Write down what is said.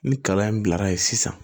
Ni kalan in bilara yen sisan